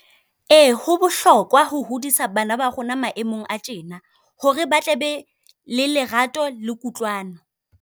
Ee, ho bohlokwa ho hodisa bana ba rona maemong a tjena, hore ba tle be le lerato le kutlwano.